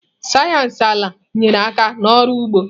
Sayensị ala nyere aka n'ọrụ ugbo.